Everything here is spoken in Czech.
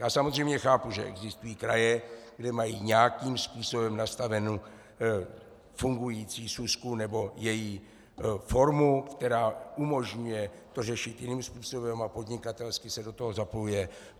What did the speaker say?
Já samozřejmě chápu, že existují kraje, kde mají nějakým způsobem nastavenu fungující súsku nebo její formu, která umožňuje to řešit jiným způsobem a podnikatelsky se do toho zapojuje.